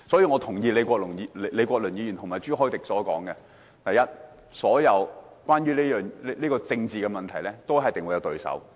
我認同李國麟議員及朱凱廸議員所說，所有政治問題，一定會有對手。